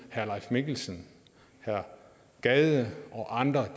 herre leif mikkelsen herre gade og andre